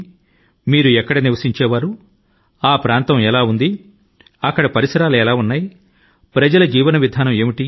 ప్రస్తుతం మీరు నివసిస్తున్నటువంటి ప్రాంతం అప్పట్లో ఎలా ఉంది సమీప ప్రాంతాలు ఎలా ఉన్నాయి అప్పటి ప్రజల ఆలోచన లు ఆచారాలు ఏమేమిటి